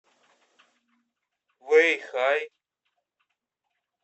вэйхай